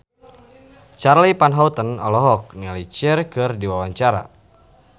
Charly Van Houten olohok ningali Cher keur diwawancara